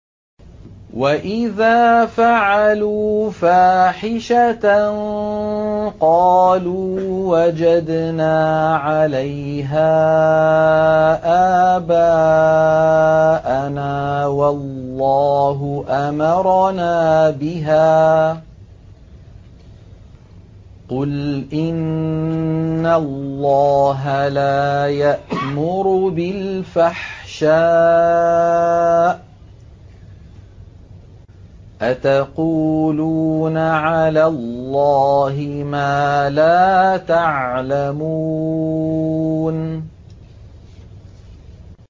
وَإِذَا فَعَلُوا فَاحِشَةً قَالُوا وَجَدْنَا عَلَيْهَا آبَاءَنَا وَاللَّهُ أَمَرَنَا بِهَا ۗ قُلْ إِنَّ اللَّهَ لَا يَأْمُرُ بِالْفَحْشَاءِ ۖ أَتَقُولُونَ عَلَى اللَّهِ مَا لَا تَعْلَمُونَ